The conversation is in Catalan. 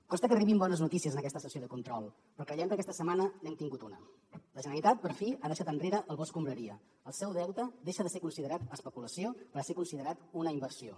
costa que arribin bones notícies en aquesta sessió de control però creiem que aquesta setmana n’hem tingut una la generalitat per fi ha deixat enrere el bo escombraria el seu deute deixa de ser considerat especulació per ser considerat una inversió